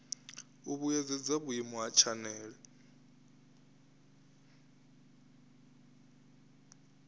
u vhuedzedza vhuimo ha tshanele